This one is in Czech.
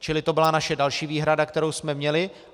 Čili to byla naše další výhrada, kterou jsme měli.